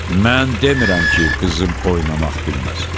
Mən demirəm ki, qızım oynamaq bilməsin.